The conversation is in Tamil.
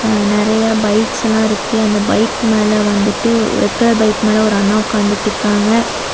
அ நெறைய பைக்ஸ் எல்லா இருக்கு. அந்த பைக் மேல வந்துட்டு ரெட் கலர் பைக் மேல ஒரு அண்ணா ஒக்காந்துட்ருக்காங்க.